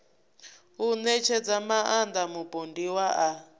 u ṋetshedza maaṋda mupondiwa a